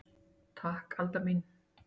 Takk Alda mín.